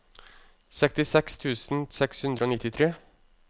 sekstiseks tusen seks hundre og nittitre